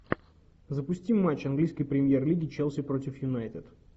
запусти матч английской премьер лиги челси против юнайтед